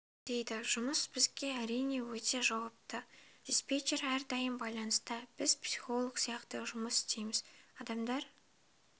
дейді жұмыс бізде әрине өте жауапты диспетчер әрдайым байлыныста біз психолог сияқты жұмыс істейміз адамдар